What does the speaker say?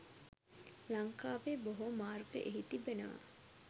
ලංකාවේ බොහෝ මාර්ග එහි තිබෙනවා